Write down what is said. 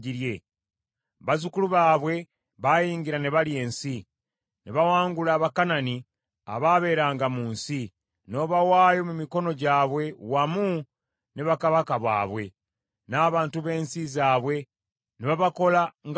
Bazzukulu baabwe baayingira ne balya ensi, ne bawangula Abakanani abaabeeranga mu nsi, n’obawaayo mu mikono gyabwe wamu ne bakabaka baabwe, n’abantu b’ensi zaabwe ne babakola nga bwe baagala.